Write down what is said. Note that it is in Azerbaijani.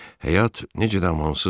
Həyat necə amansızdır.